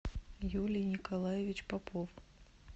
юлий николаевич попов